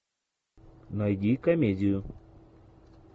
найди комедию